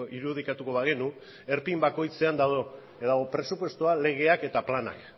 irudikatuko bagenu erpin bakoitzean dago presupuestoa legeak eta planak